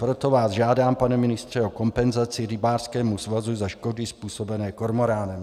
Proto vás žádám, pane ministře, o kompenzaci rybářskému svazu za škody způsobené kormorány.